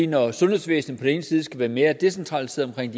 når sundhedsvæsenet på den ene side skal være mere decentralt centreret